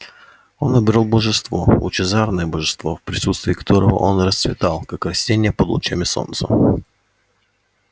он обрёл божество лучезарное божество в присутствии которого он расцветал как растение под лучами солнца